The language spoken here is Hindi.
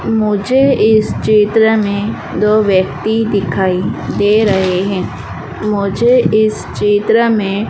मुझे इस चित्र में दो व्यक्ति दिखाई दे रहे हैं मुझे इस चित्र में--